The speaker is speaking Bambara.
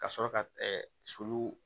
Ka sɔrɔ ka sulu